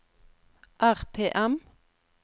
RPM